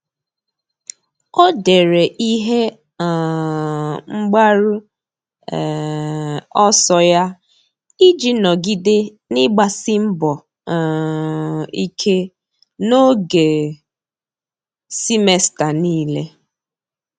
Ọ́ dèrè ihe um mgbaru um ọsọ ya iji nọ́gídé n’ị́gbàsí mbọ um ike n’ógè semester niile.